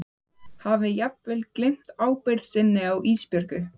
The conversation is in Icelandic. Hafi jafnvel gleymt ábyrgð sinni á Ísbjörgu.